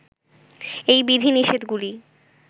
এই বিধি-নিষেধগুলি